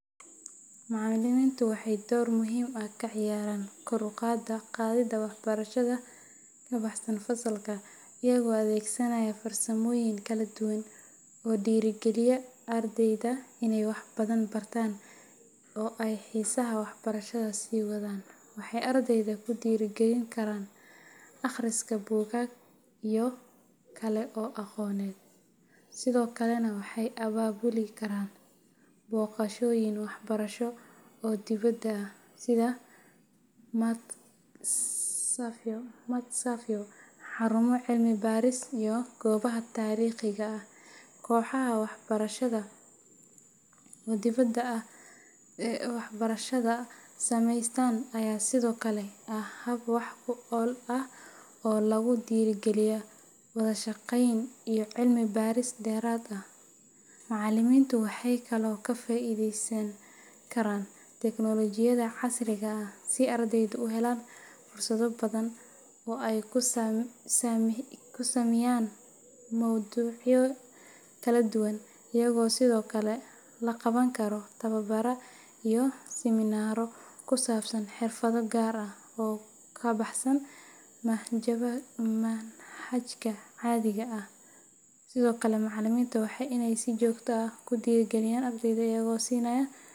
Macallimiintu waxay door muhiim ah ka ciyaaraan kor u qaadida waxbarashada ka baxsan fasalka iyagoo adeegsanaya farsamooyin kala duwan oo dhiirrigeliya ardayda inay waxbadan bartaan oo ay xiisaha waxbarashada sii wadaan. Waxay ardayda ku dhiirrigelin karaan akhriska buugaag iyo ilo kale oo aqooneed, sidoo kalena waxay abaabuli karaan booqashooyin waxbarasho oo dibadda ah sida matxafyo, xarumo cilmi baaris, iyo goobaha taariikhiga ah. Kooxaha waxbarasho ee ardaydu sameystaan ayaa sidoo kale ah hab wax ku ool ah oo lagu dhiirrigeliyo wada shaqeyn iyo cilmi baaris dheeraad ah. Macallimiintu waxay kaloo ka faa’iideysan karaan teknoolojiyadda casriga ah si ardaydu u helaan fursado badan oo ay ku sahamiyaan mowduucyada kala duwan, iyadoo sidoo kale la qaban karo tababaro iyo siminaaro ku saabsan xirfado gaar ah oo ka baxsan manhajka caadiga ah. Sidoo kale, macallimiinta waa inay si joogto ah u dhiirrigeliyaan ardayda, iyagoo siinayan.